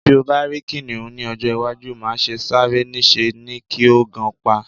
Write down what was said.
Bí o bá rí kìnìhún ní ọjọ́-iwájú, má se sáré, níṣe ni kí o gan pa.